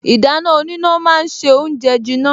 Ìdáná oníná ma ń se oúnjẹ jiná